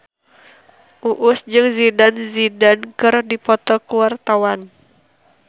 Uus jeung Zidane Zidane keur dipoto ku wartawan